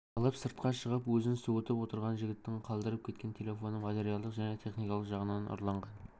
алып сыртқа шығып ізін суытып отырған жігіттің қалдырып кеткен телефоны материалдық және техникалық жағынан ұрлаған